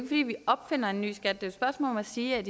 vi opfinder en ny skat det et spørgsmål om at sige at